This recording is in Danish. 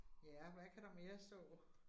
Ja, hvad kan der mere stå?